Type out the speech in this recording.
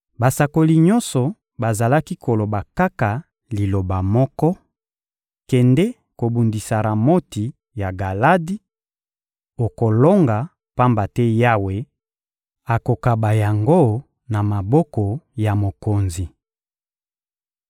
Basakoli nyonso bazalaki koloba kaka liloba moko: «Kende kobundisa Ramoti ya Galadi, okolonga; pamba te Yawe akokaba yango na maboko ya mokonzi.»